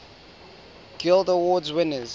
guild award winners